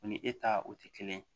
O ni e ta o tɛ kelen ye